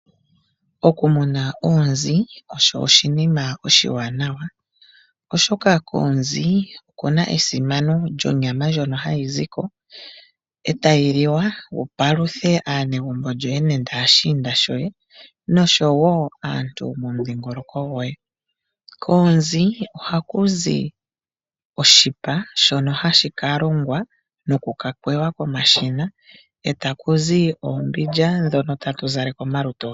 Oku muna oonzi osho oshinima oshiwanawa, oshoka koonzi okuna esimano lyonyama ndjono hayi zi ko etayi li wa wu paluthe aanegumbo lyoye nenge ashiinda shoye noshowo aantu yomomudhingoloko goye. Koonzi ohaku zi oshipa shono hashi ka longwa noku ka kwewa komashina etaku zi oombilya ndhono tatu zaleke omalutu getu.